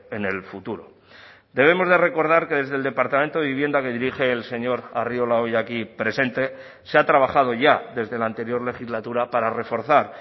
en el futuro debemos de recordar que desde el departamento de vivienda que dirige el señor arriola hoy aquí presente se ha trabajado ya desde la anterior legislatura para reforzar